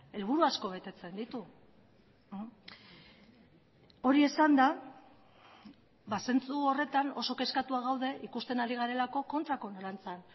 helburu asko betetzen ditu hori esanda ba zentzu horretan oso kezkatua gaude ikusten ari garelako kontrako norantzan